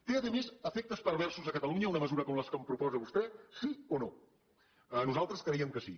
té a més efectes perversos a catalunya una mesura com la que proposa vostè sí o no nosaltres creiem que sí